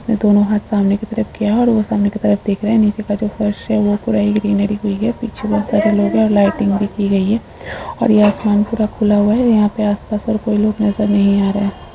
इसने दोनों हाथ सामने की तरफ किया है और वह सामने की तरफ देख रहे है। नीचे का जो फर्श है वह पूरा ही ग्रीनरी हुई है पीछे बहुत सारे लोग है और लाइटिंग भी की गई है। और यहां पे आसमान पूरा खुला हुआ है। यहाँ पर आस पास और कोई लोग नजर नहीं आ रहे --